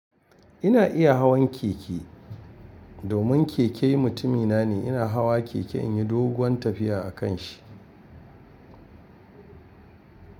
Ina iya hawan keke. Domin keke mutumina ne, ina hawa keke in yi doguwan tafiya a kan shi.